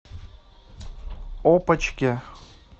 опочке